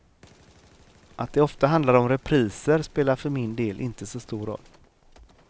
Att det ofta handlar om repriser spelar för min del inte så stor roll.